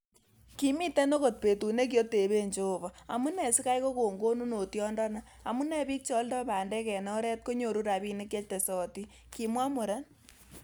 'Kimiten ogot betut nekioteben Johova, amune sikai kokonon konunotiondoni, amun bik che oldo bandek en oret konyoru rabinik chetesotin,"kimwa muren